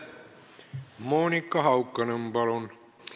Monika Haukanõmm, palun!